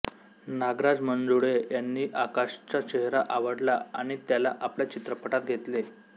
नागराज मंजुळे यांना आकाशचा चेहरा आवडला आणि त्याला आपल्या चित्रपटात घेतले